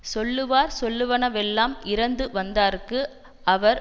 சொல்லுவார் சொல்லுவனவெல்லாம் இரந்துவந்தார்க்கு அவர்